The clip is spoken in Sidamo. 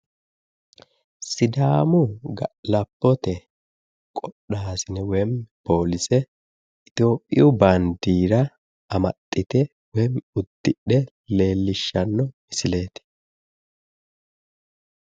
Sidaamu ga'labote qodhaasine woy poolise Itiyophiyu baadiira amaxxite woyiimmi uddidhe leellishshanno misileeti